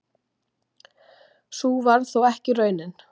Sú varð þó ekki raunin.